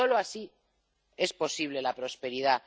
Y solo así es posible la prosperidad.